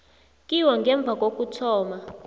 kiwo ngemva kokuthoma